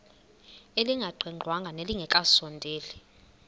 elingaqingqwanga nelinge kasondeli